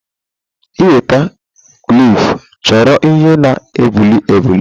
Ị nweta kwiff chọrọ ihe na-ebuli ebuli.